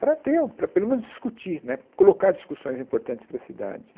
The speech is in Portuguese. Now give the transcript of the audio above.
para ter, para pelo menos discutir né, colocar discussões importantes para a cidade.